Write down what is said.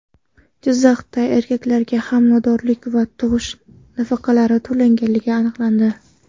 Jizzaxda erkaklarga homiladorlik va tug‘ish nafaqalari to‘langani aniqlandi.